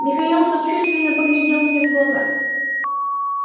михаил сочувственно поглядел мне в глаза